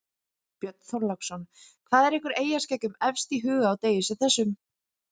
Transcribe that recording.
Björn Þorláksson: Hvað er ykkur eyjaskeggjum efst í huga á degi sem þessum?